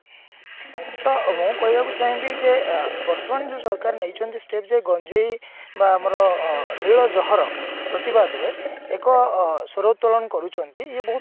ତା ମୁଁ କହିବାକୁ ଚାହିଁ ବି ଯେ ବର୍ତମାନ ଯୋଉ ସରକାର ନେଇଛନ୍ତି step ଯୋଉ ଗଞ୍ଜେଇ ବା ଆମର ମୂଳ ଜହର ପ୍ରତିବାଦ ରେ ଏକ ସ୍ଵର ଉତ୍ତୋଳନ କରୁଛନ୍ତି ଇଏ ବହୁତ